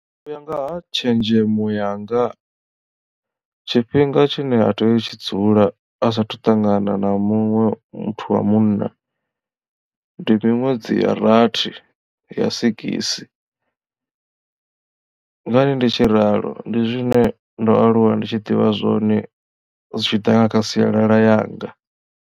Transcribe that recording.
U ya nga tshenzhemo yanga tshifhinga tshine a tea u tshi dzula asathu ṱangana na muṅwe muthu wa munna ndi miṅwedzi ya rathi ya sigisi ngani ndi tshi ralo ndi zwine ndo aluwa ndi tshi ḓivha zwone zwitshiḓa kha sialala yanga.